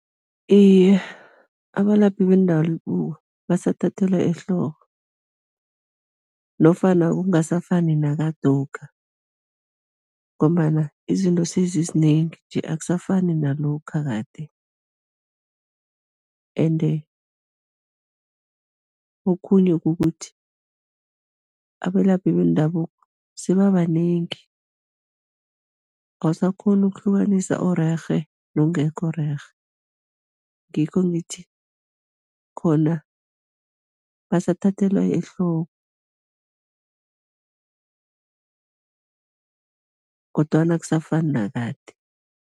Iye, abalaphi bendabuko basathathelwa ehloko nofana kungasafani nakadokha ngombana izinto sezizinengi nje, akusafani nalokha kade ende okhunye kukuthi, abelaphi bendabuko sebabanengi, awusakghoni ukuhlukanisa orerhe nongekho rerhe, ngikho ngithi, khona basathathelwa ehloko kodwana akusafani nakade.